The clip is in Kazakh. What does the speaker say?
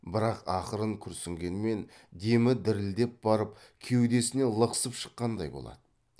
бірақ ақырын күрсінгенмен демі дірілдеп барып кеудесінен лықсып шыққандай болады